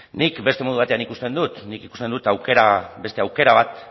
nik beste modu batean ikusten dut nik ikusten dut beste aukera bat